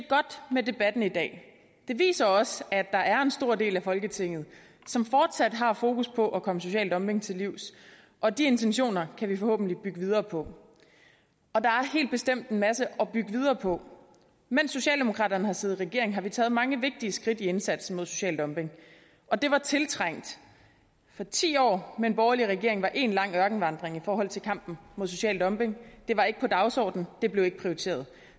godt med debatten i dag den viser også at der er en stor del af folketinget som fortsat har fokus på at komme social dumping til livs og de intentioner kan vi forhåbentlig bygge videre på og der er helt bestemt en masse at bygge videre på mens socialdemokraterne har siddet i regering har vi taget mange vigtige skridt i indsatsen mod social dumping og det var tiltrængt for ti år med en borgerlig regering var én lang ørkenvandring i forhold til kampen mod social dumping det var ikke på dagsordenen det blev ikke prioriteret